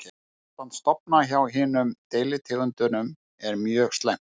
Ástand stofna hjá hinum deilitegundunum er mjög slæmt.